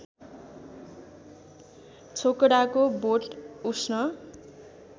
छोकडाको बोट उष्ण